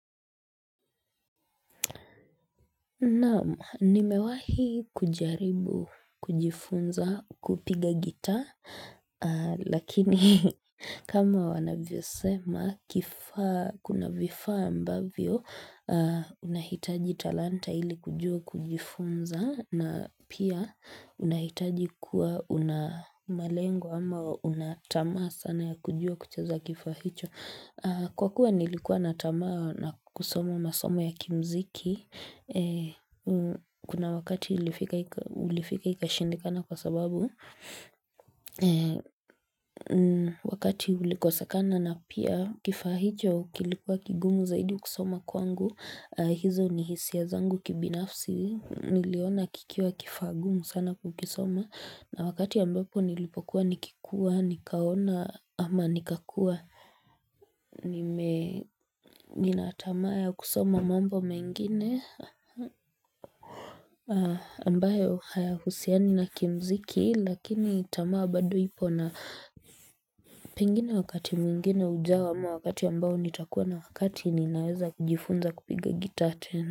Naam, nimewahi kujaribu kujifunza kupiga gita, lakini kama wanavyo sema kifaa, kuna vifaa ambavyo, unahitaji talanta ili kujua kujifunza na pia unahitaji kuwa unamalenga ama unatamaa sana ya kujua kuchaza kifaa hicho. Kwa kuwa nilikuwa na tama na kusoma masomo ya kimuziki, kuna wakati ulifika ikashindikana kwa sababu, wakati ulikosekana na pia kifaa hicho kilikuwa kigumu zaidi kusoma kwangu, hizo ni hisia zangu kibinafsi, niliona kikiwa kifaa gumu sana kukisoma. Na wakati ambapo nilipokuwa nikikuwa, nikaona ama nikakua. Nime, nina tamaa ya kusoma mambo mengine. Ambayo hayahusiani na kimuziki lakini tamaa bado ipo na pengine wakati mwingine ujawa ama wakati ambao nitakuwa na wakati ninaweza kujifunza kupiga gitaa tena.